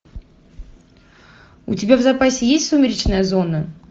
у тебя в запасе есть сумеречная зона